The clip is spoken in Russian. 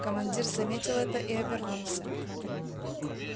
командир заметил это и обернулся